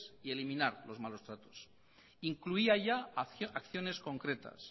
y eliminar los malos tratos incluía ya acciones concretas